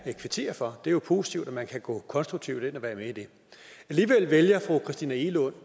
kvittere for det er jo positivt at man kan gå konstruktivt ind og være med i det alligevel vælger fru christina egelund